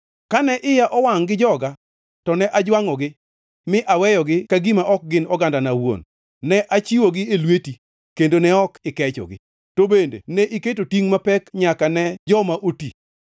Kane iya owangʼ gi joga to ne ajwangʼogi mi aweyogi ka gima ok gin ogandana awuon; ne achiwogi e lweti, kendo ne ok ikechogi. To bende ne iketo tingʼ mapek nyaka ne joma oti.